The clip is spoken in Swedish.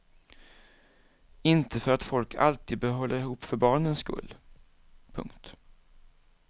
Inte för att folk alltid bör hålla ihop för barnens skull. punkt